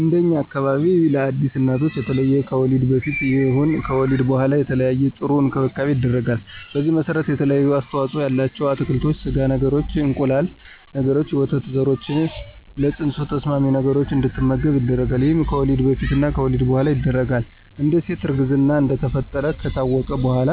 እንደኛ አካባቢ ለአዲስ እናቶች የተለየ ከወሊድ በፊትም ይሁን ከወሊድ በኋላ የተለየና ጥሩ እንክብካቤ ይደረጋል። በዚህም መሰረት የተለያዩ አስተዋፅኦ ያላቸው አትክልቶችን፣ ስጋ ነገሮችን፣ እንቁላል ነገሮችንና የወተት ዘሮችን ለፅንሱ ተስማሚ ነገሮች እንድትመገብ ይደረጋል ይሄም ከወሊድ በፊትም በወሊድ በኋላም ይደረጋል፣ አንድ ሴት እርግዝና እንደተፈጠረ ከታወቀ በኋላ